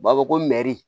U b'a fɔ ko mɛri